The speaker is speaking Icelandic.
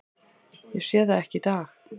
Ég sé það ekki í dag.